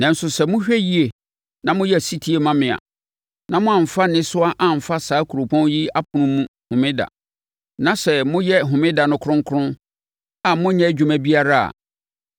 Nanso sɛ mohwɛ yie na moyɛ ɔsetie ma me a, na moamfa nnesoa amfa saa kuropɔn yi apono mu Homeda, na sɛ moyɛ Homeda no kronkron a monnyɛ adwuma biara a,